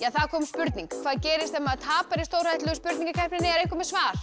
það kom spurning hvað gerist ef maður tapar í stórhættulegu spurningakeppninni er einhver með svar